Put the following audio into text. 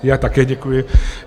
Já také děkuji.